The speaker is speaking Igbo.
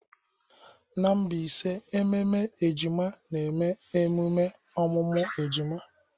N'Mbaise ememe ejima na-eme emume ọmụmụ ejima.